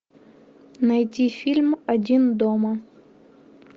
найти фильм один дома